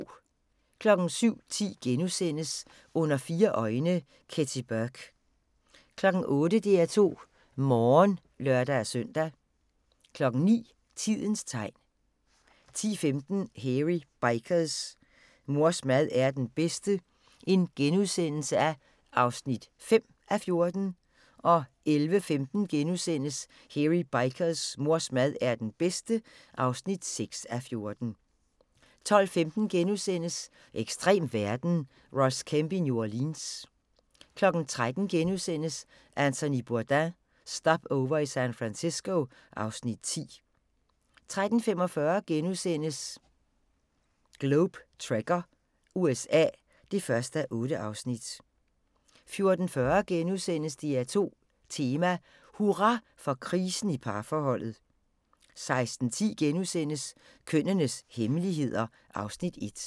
07:10: Under fire øjne – Kathy Burke * 08:00: DR2 Morgen (lør-søn) 09:00: Tidens tegn 10:15: Hairy Bikers: Mors mad er den bedste (5:14)* 11:15: Hairy Bikers: Mors mad er den bedste (6:14)* 12:15: Ekstrem verden – Ross Kemp i New Orleans * 13:00: Anthony Bourdain – Stopover i San Francisco (Afs. 10)* 13:45: Globe Trekker – USA (1:8)* 14:40: DR2 Tema: Hurra for krisen i parforholdet * 16:10: Kønnenes hemmeligheder (Afs. 1)*